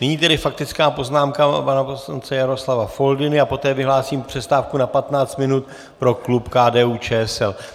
Nyní tedy faktická poznámka pana poslance Jaroslava Foldyny a poté vyhlásím přestávku na 15 minut pro klub KDU-ČSL.